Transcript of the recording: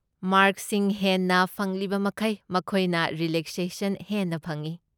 ꯃꯥꯔꯛꯁꯤꯡ ꯍꯦꯟꯅ ꯐꯪꯂꯤꯕꯃꯈꯩ, ꯃꯈꯣꯏꯅ ꯔꯤꯂꯦꯛꯁꯦꯁꯟ ꯍꯦꯟꯅ ꯐꯪꯢ꯫